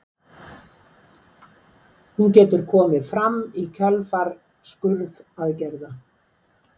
hún getur komið fram í kjölfar skurðaðgerða